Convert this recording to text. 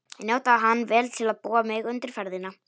Ég notaði hann vel til að búa mig undir ferðina.